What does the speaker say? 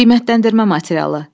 Qiymətləndirmə materialı.